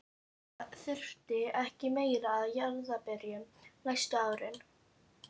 Ég þurfti ekki meira af jarðarberjum næstu árin.